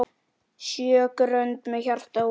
Sjö grönd með hjarta út.